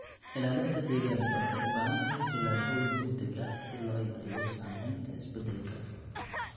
Ilaalinta deegaanka waxay u baahan tahay tallaabooyin deg deg ah si loo yareeyo saameynta isbeddelka.